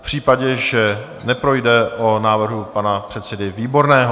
V případě, že neprojde, o návrhu pana předsedy Výborného.